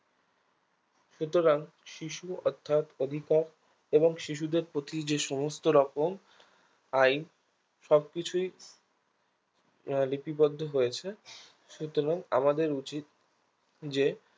সুতরাং শিশু অর্থাৎ অধিপক এবং শিশুদের প্রতি যেসমস্ত রকম আইন সবকিছুই লিপিবদ্ধ হয়েছে সুতরাং আমাদের উচিত যে